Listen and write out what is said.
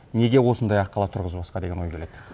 неге осындай аққала тұрғызбасқа деген ой келеді